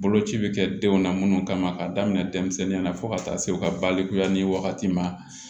Boloci bɛ kɛ denw na minnu kama k'a daminɛ denmisɛnninya na fo ka taa se u ka balikuya ni wagati ma